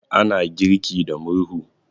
ana girki da murhu